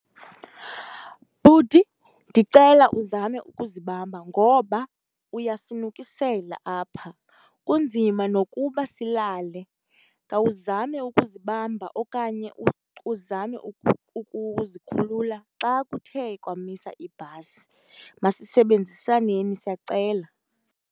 Bhuti, ndicela uzame ukuzibamba ngoba uyasinukisela apha, kunzima nokuba silale. Khawuzame ukuzibamba okanye uzame ukuzikhulula xa kuthe kwamisa ibhasi. Masisebenzisaneni siyacela.